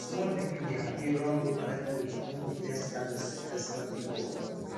small pikin dey happy run go collect fruit wen de first harvest festival dey go on